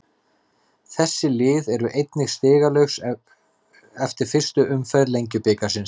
Þessi lið eru einnig stigalaus eftir fyrstu umferð Lengjubikarsins.